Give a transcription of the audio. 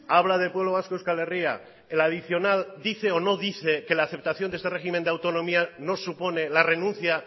habla de pueblo vasco euskal herria el adicional dice o no dice que la aceptación de este régimen de autonomía no supone la renuncia